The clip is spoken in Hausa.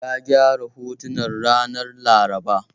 Ya gyara hotunan ranar Laraba.